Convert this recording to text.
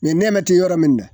Ni nɛma te yɔrɔ min dɛ